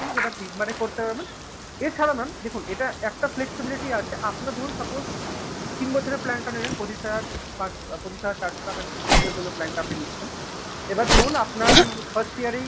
সেটা তিনবারে করতে হবে mam এছাড়া mam দেখুন এটা একটা flexibility আছে আপনার ধরুন suppose তিন বছরের plan টা নেবেন। পঁচিশ হাজার পঁচিশ হাজার চারশো টাকা নিয়ে তিন বছরের জন্য plan টা আপনি নিচ্ছেন। এবার ধরুন আপনার first year এই